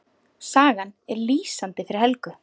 Sagan er lýsandi fyrir Helgu.